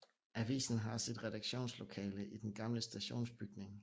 Avisen har sit redaktionslokale i den gamle stationsbygning